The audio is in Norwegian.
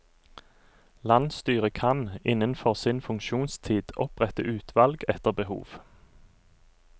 Landsstyret kan, innenfor sin funksjonstid, opprette utvalg etter behov.